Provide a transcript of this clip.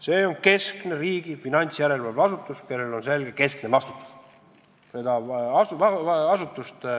See on keskne riigi finantsjärelevalve asutus, kellel on selge keskne vastutus.